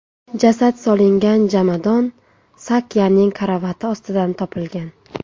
Jasad solingan jomadon Sakyaning karavoti ostidan topilgan.